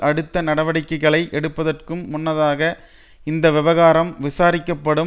அடுத்த நடவடிக்கைகளை எடுப்பதற்கும் முன்னதாக இந்த விவகாரம் விசாரிக்கப்படும்